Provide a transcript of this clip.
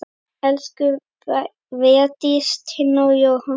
Elsku Védís, Tinna og Jóhann.